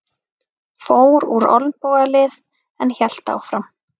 Fór úr olnbogalið en hélt áfram